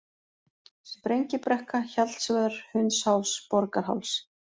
Sprengibrekka, Hjallsvör, Hundsháls, Borgarháls